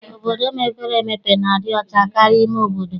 Obodo mepere emepe na-adị ọcha karịa ime obodo.